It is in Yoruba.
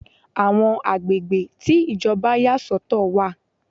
Àwọn agbègbè tí Ìjọba yà sọ̀tọ̀ wà.